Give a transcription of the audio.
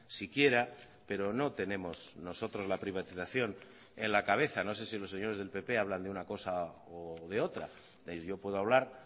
siquiera pero no tenemos nosotros la privatización en la cabeza no sé si los señores del pp hablan de una cosa o de otra yo puedo hablar